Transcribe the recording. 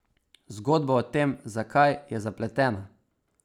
Zgodba o tem, zakaj, je zapletena.